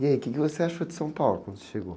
E aí, o quê que você achou de São Paulo quando você chegou?